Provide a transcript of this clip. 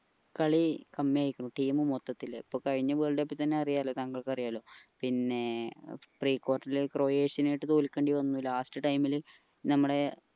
കളി കമ്മി ആയിക്കുണു team മൊത്തത്തില് ഇപ്പൊ കഴിഞ്ഞ world cup ൽ തന്നെ അറിയാലോ തങ്ങൾക്ക് അറിയാലോ പിന്നെ pre quarter ൽ ക്രോയേഷ്യനായിട്ട് തോൽക്കേണ്ടി വന്ന് last time ഞങ്ങള്